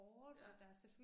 Ja